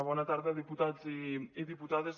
bona tarda diputats i diputades